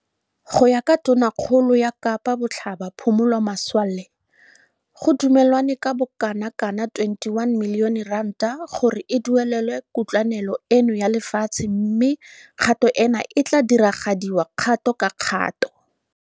Go ya ka Tonakgolo ya Kapa Botlhaba Phumulo Masualle, go dumelwane ka bokanaka R21 milione gore e duelelwe kutlwanelo eno ya lefatshe mme kgato eno e tla diragadiwa kgato ka kgato.